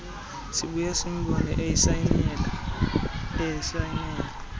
sibuya simbone esayinela